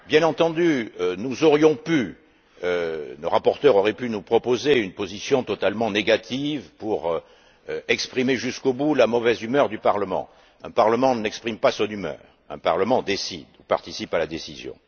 Bien entendu, nos rapporteurs auraient pu nous proposer une position totalement négative pour exprimer jusqu'au bout la mauvaise humeur du Parlement, mais un Parlement n'exprime pas son humeur, un Parlement décide ou participe à la décision.